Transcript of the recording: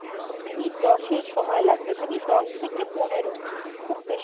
minute দশেক সময় লাগবে, minute দশ থেকে পনেরো